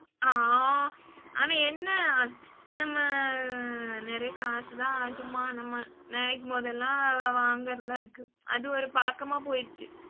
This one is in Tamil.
அஹ் ஆனா என்ன நம்ம நெறைய காசுதான் சும்மா நம்ம நினைக்கும் போதெல்லாம் வாங்குறதா இருக்கு. அது ஒரு பழக்கமா போய்டுச்சு